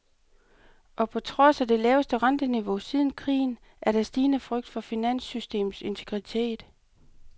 Og på trods af det laveste renteniveau siden krigen er der stigende frygt for finanssystemets integritet.